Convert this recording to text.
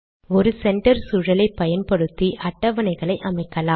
ஒரு சென்டர் சூழலை பயன்படுத்தி அட்டவணைகளை அமைக்கலாம்